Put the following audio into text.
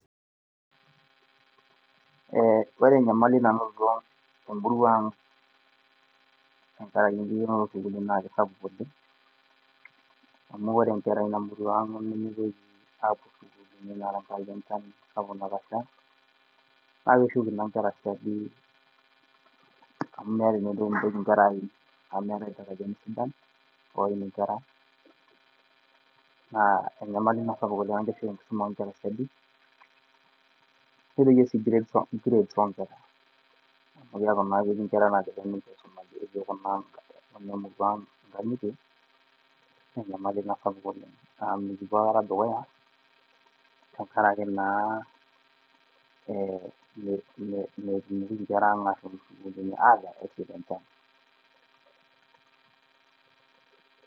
ore enyamali nanotito emurua ang tenkaraki enkikenoto oo sukuuuni naa kisapuk oleng, amu ore inkera eina murua ang nemeitoka apuo isukuulini tenkaraki enchan sapuk natasha. naa keshuk ina inkera siadi oleng .amu meeta naa eneitoki inkera aim amu meetae iltarajani sidan, oim inkera, naa enyamali ina sapuk oleng amu keshuk enkisuma oo nkera siadi, nedoyio grades oo nkera, amu kibooki naa nkera nkang'itie naa enyamali ina sapuk oleng, naa mikipuo aikata dukuya tenkaraki naa metumoki inkera ang ashom isukuulini tenkaraki enchan.